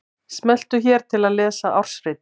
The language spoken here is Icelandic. Smelltu hér til að lesa ársritið